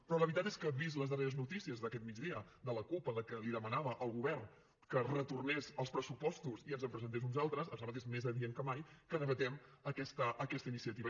però la veritat és que vistes les darreres notícies d’aquest migdia de la cup en què li demanava al govern que retornés els pressupostos i ens en presentés uns altres em sembla que és més adient que mai que debatem aquesta iniciativa